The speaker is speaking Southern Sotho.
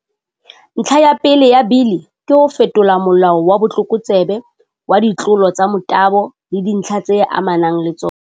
Ntlha ya pele ya Bili ke ho fetola Molao wa Botlokotsebe wa, Ditlolo tsa Motabo le Dintlha tse Amanang le Tsona.